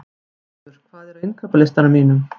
Snjólfur, hvað er á innkaupalistanum mínum?